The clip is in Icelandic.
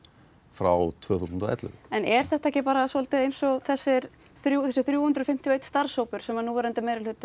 frá tvö þúsund og ellefu en er þetta ekki bara svolítið eins og þessi þrjú þessi þrjú hundruð fimmtíu og eitt starfshópur sem núverandi